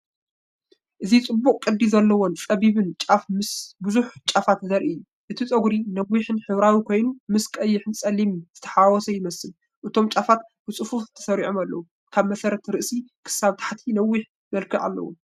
እዚ ጽቡቕ ቅዲ ዘለዎን ጸቢብን ጫፍ ምስ ብዙሕ ጫፋት ዘርኢ እዩ። እቲ ጸጕሪ ነዊሕን ሕብራዊን ኮይኑ፡ ምስ ቀይሕን ጸሊምን ዝተሓዋወሰ ይመስል። እቶም ጫፋት ብጽፉፍ ተሰሪዖም ኣለዉ፣ ካብ መሰረት ርእሲ ክሳብ ታሕቲ ነዊሕ መልክዕ ኣለዎም።